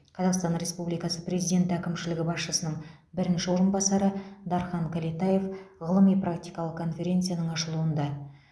қазақстан республикасы президенті әкімшілігі басшысының бірінші орынбасары дархан кәлетаев ғылыми практикалық конференцияның ашылуында